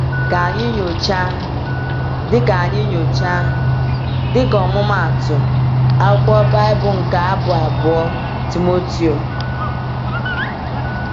Ka anyị nyochaa, dịka anyị nyochaa, dịka ọmụmaatụ, akwụkwọ Baịbụl nke Abụ abụọ Timoteo.